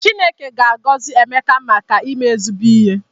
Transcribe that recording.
Chineke ga-agọzi Emeka maka ime ezigbo ihe